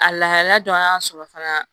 A lahalaya dɔ an y'a sɔrɔ fana